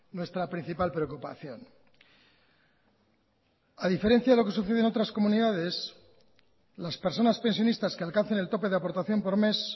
nuestra principal preocupación a diferencia de lo que sucede en otras comunidades las personas pensionistas que alcancen el tope de aportación por mes